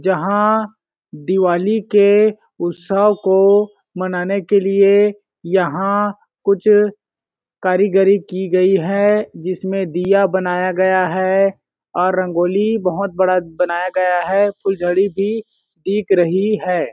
जहाँ दिवाली के उस्तव को मनाने के लिए यहाँ कुछ कारीगरी की गई है जिसमे दिया बनाया गया है और रंगोली बहोत बड़ा बनाया गया है और फूलझड़ी भी दिख रही है।